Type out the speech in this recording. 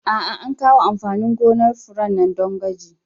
A'a, an kawo amfanin gonar fure nan don gwaji.